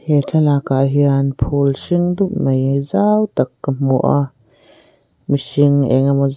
he thlalakah hian phûl hring dup mai zau tak ka hmu a mihring eng emaw zat--